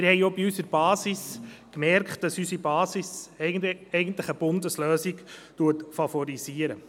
Wir haben bemerkt, dass unsere Basis eigentlich eine Bundeslösung favorisiert.